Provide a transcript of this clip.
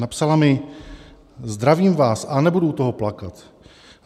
Napsala mi: "Zdravím vás - a nebudu u toho plakat.